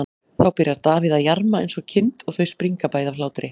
Þá byrjar Davíð að jarma eins og kind og þau springa bæði af hlátri.